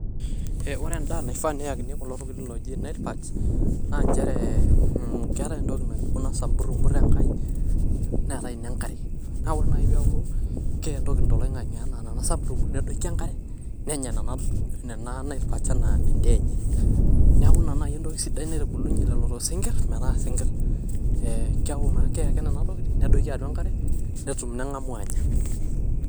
eh ore endaa naifaa neyakini kulo tokitin oji nile perks naa nchere mmh keetae entoki naji